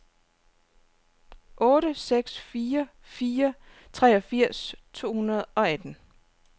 otte seks fire fire treogfirs to hundrede og atten